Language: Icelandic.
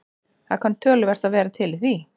Það kann töluvert að vera til í því.